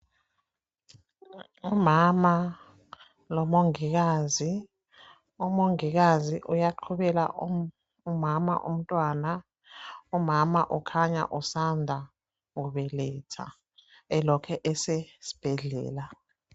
Umama lomongikazi, umongikazi uyaqubela umama umntwana, umama ukhanya usanda kubeletha elokhe esesibhedlela.